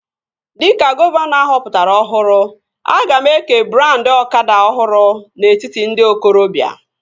Dịka gọvanọ ahọpụtara ọhụrụ, aga m eke brandị ọkada ọhụrụ n'etiti ndị okorobia